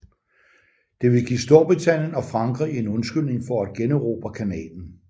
Det ville give Storbritannien og Frankrig en undskyldning for at generobre kanalen